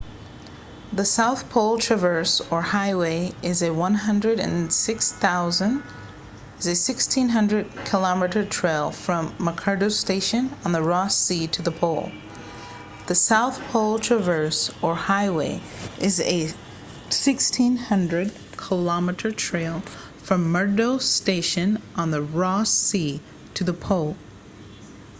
the south pole traverse or highway is a 1600 km trail from mcmurdo station on the ross sea to the pole